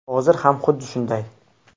Hozir ham xuddi shunday.